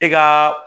I ka